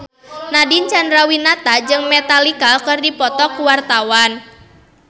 Nadine Chandrawinata jeung Metallica keur dipoto ku wartawan